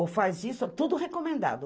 Ou faz isso, é tudo recomendado.